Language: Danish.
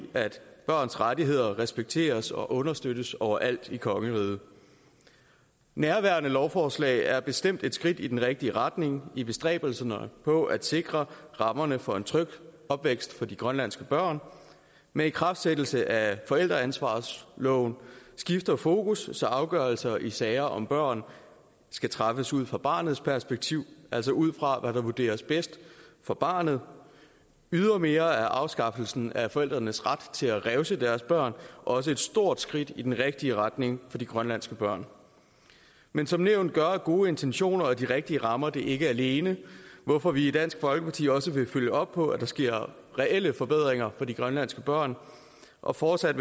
at børns rettigheder respekteres og understøttes overalt i kongeriget nærværende lovforslag er bestemt et skridt i den rigtige retning i bestræbelserne på at sikre rammerne for en tryg opvækst for de grønlandske børn med ikraftsættelsen af forældreansvarsloven skifter fokus så afgørelser i sager om børn skal træffes ud fra barnets perspektiv altså ud fra hvad der vurderes bedst for barnet ydermere er afskaffelsen af forældrenes ret til at revse deres børn også et stort skridt i den rigtige retning for de grønlandske børn men som nævnt gør gode intentioner og de rigtige rammer det ikke alene hvorfor vi i dansk folkeparti også vil følge op på at der sker reelle forbedringer for de grønlandske børn og fortsat